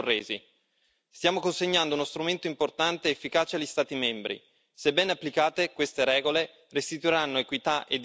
Se ben applicate queste regole restituiranno equità e dignità alle piccole imprese, ovvero agli anelli più deboli della filiera agroalimentare.